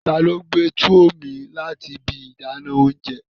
Tani o gbe tuwo mi lati ibi idana ounjẹ?